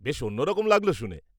-বেশ অন্যরকম লাগল শুনে।